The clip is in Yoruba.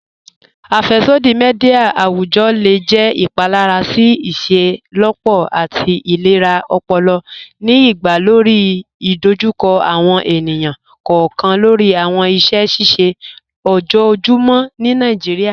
Afẹ́ṣọdí míḍíà awùjọ́ le jẹ́ ìpálàrà sí ìṣẹ́lọ́pọ̀ àti ìlẹ̀rà ọ̀pọ̀lọ̀, ní ìpà lórí ìdòjúkọ̀ àwọn ènìyàn kọọkan lórí àwọn ìṣẹ̀ ṣíṣẹ̀ ọjọ́ọ̀jùmọ́ ní Nàìjíríà.